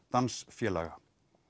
dansfélaga